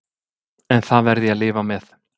En það verð ég að lifa með.